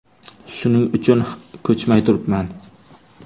Shuning uchun ko‘chmay turibman.